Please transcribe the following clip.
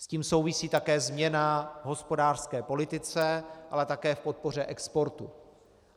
S tím souvisí také změna v hospodářské politice, ale také v podpoře exportu.